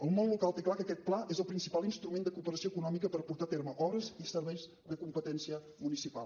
el món local té clar que aquest pla és el principal instrument de cooperació econòmica per portar a terme obres i serveis de competència municipal